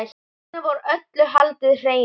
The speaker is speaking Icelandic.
Þarna var öllu haldið hreinu.